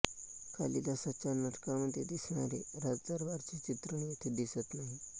कालिदासाच्या नाटकांमध्ये दिसणारे राजदरबाराचे चित्रण येथे दिसत नाही